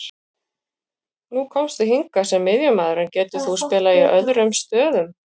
Nú komstu hingað sem miðjumaður, en getur þú spilað í öðrum stöðum?